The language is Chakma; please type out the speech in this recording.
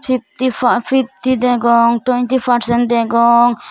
fitty fa fitty degong twenty percent degong.